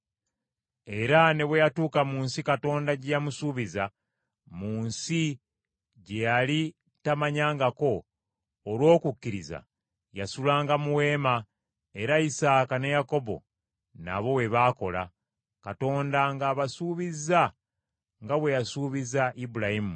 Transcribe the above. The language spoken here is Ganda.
Era ne bwe yatuuka mu nsi Katonda gye yamusuubiza, mu nsi gye yali tamanyangako, olw’okukkiriza yasulanga mu weema era lsaaka ne Yakobo nabo bwe baakola, Katonda ng’abasuubizza nga bwe yasuubiza Ibulayimu.